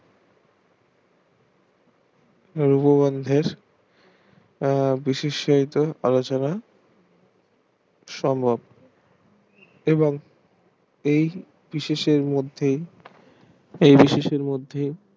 বিশিষ্ট আলোচনা সমক এবং এই বিশেষ এর মধ্যে এই বিশেষ এর মধ্যে